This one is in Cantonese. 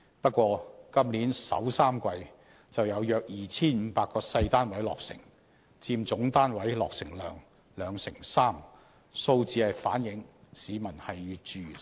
不過，今年首3季就有約 2,500 個細單位落成，佔總單位落成量兩成三，數字反映市民越住越細。